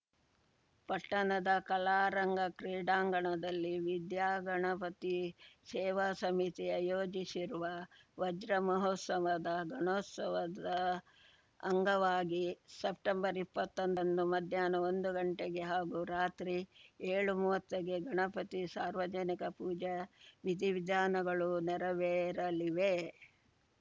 ಪಟ್ಟಣದ ಕಲಾರಂಗ ಕ್ರೀಡಾಂಗಣದಲ್ಲಿ ವಿದ್ಯಾಗಣಪತಿ ಸೇವಾ ಸಮಿತಿ ಆಯೋಜಿಸಿರುವ ವಜ್ರಮಹೋತ್ಸವದ ಗಣೋತ್ಸವದ ಅಂಗವಾಗಿ ಸೆಪ್ಟೆಂಬರ್ಇಪ್ಪತ್ತೊಂದರಂದು ಮಧ್ಯಾಹ್ನ ಒಂದು ಗಂಟೆಗೆ ಹಾಗೂ ರಾತ್ರಿ ಏಳುಮೂವತ್ತಕ್ಕೆ ಗಣಪತಿ ಸಾರ್ವಜನಿಕ ಪೂಜಾ ವಿಧಿವಿಧಾನಗಳು ನೆರವೇರಲಿವೆ